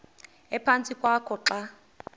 ephantsi kwakho xa